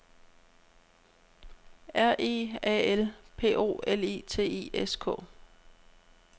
R E A L P O L I T I S K